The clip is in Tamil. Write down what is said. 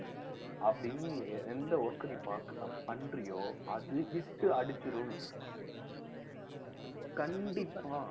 அப்படின்னு நீ எந்த work அ நீ பாக்~ பண்றியோ அது hit அடிச்சிரும் கண்டிப்பா